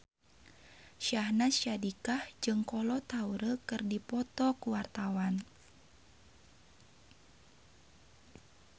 Syahnaz Sadiqah jeung Kolo Taure keur dipoto ku wartawan